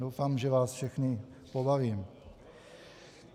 Doufám, že vás všechny pobavím.